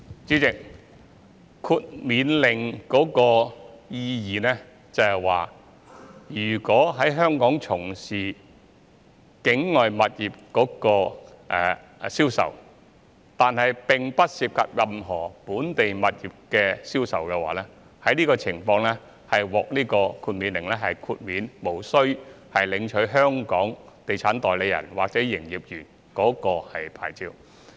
主席，豁免領牌令的意義是，如果在香港從事境外物業的銷售，但並不涉及任何本地物業銷售的話，這情況可獲豁免，無須領取香港地產代理或營業員牌照。